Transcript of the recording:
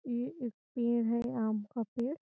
ये एक पेड़ है आम का पेड़।